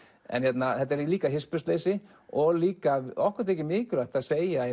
en þetta er líka hispursleysi og líka okkur þykir mikilvægt að segja